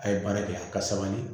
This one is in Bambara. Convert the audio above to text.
A ye baara kɛ a ka sabali